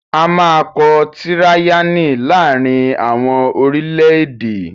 A máa kọ tíráyánì láàrín àwọn orílẹ̀-èdè